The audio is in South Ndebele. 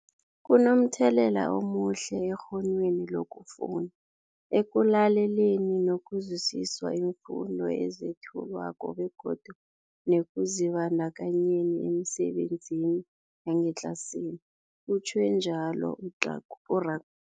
Kunomthelela omuhle ekghonweni lokufunda, ekulaleleni nokuzwisiswa iimfundo ezethulwako begodu nekuzibandakanyeni emisebenzini yangetlasini, utjhwe njalo u-Rak